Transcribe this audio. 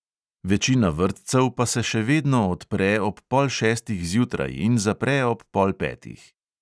Večina vrtcev pa se še vedno odpre ob pol šestih zjutraj in zapre ob pol petih.